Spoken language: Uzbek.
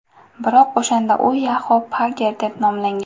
Biroq o‘shanda u Yahoo Pager deb nomlangan.